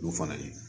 N'o fana ye